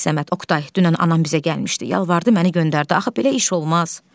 Səməd, Oqtay, dünən anam bizə gəlmişdi, yalvardı, məni göndərdi, axı belə iş olmaz.